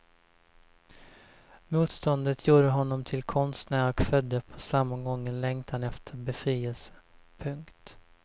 Motståndet gjorde honom till konstnär och födde på samma gång en längtan efter befrielse. punkt